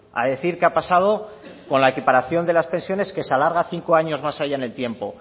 a decir qué ha pasado con la equiparación de las pensiones que se alarga cinco años más allá en el tiempo